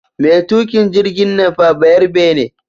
Mai tuƙin jirgin nan fa bayarbe ne